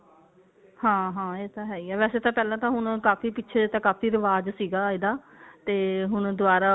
ਹਾਂ ਹਾਂ ਇਹ ਤਾਂ ਹੈ ਹੀ ਹੈ ਵੈਸੇ ਤਾਂ ਪਹਿਲਾਂ ਤਾਂ ਹੁਣ ਕਾਫੀ ਪਿੱਛੇ ਜੇ ਤਾਂ ਕਾਫੀ ਰਿਵਾਜ਼ ਸੀਗਾ ਇਹਦਾ ਤੇ ਹੁਣ ਦੁਆਰਾ